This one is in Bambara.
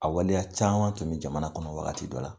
A waleya caman tun bi jamana kɔnɔ wagati dɔ la